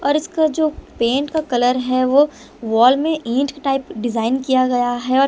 और इसका जो पेंट का कलर है वो वॉल में ईंट टाइप डिजाइन किया गया है और--